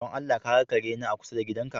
Don Allah ka ga kare na a kusa da gidanka?